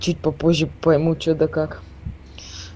чуть попозже пойму что да как